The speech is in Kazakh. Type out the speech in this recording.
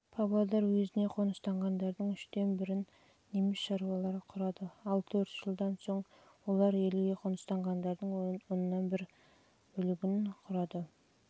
жылы павлодар уезіне қоныстанғандардың үштен бірін неміс шаруалары құрады ал төрт жылдан соң олар елге қоныстанғандардың оннан бір